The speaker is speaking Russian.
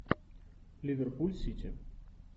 ливерпуль сити